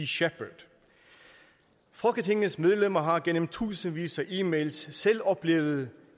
shepherd folketingets medlemmer har gennem tusindvis af e mails selv oplevet